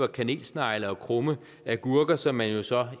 kanelsnegle og krumme agurker som man jo så